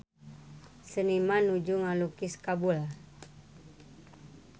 Seniman nuju ngalukis Kabul